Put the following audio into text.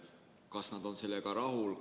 Kas nad on sellega rahul?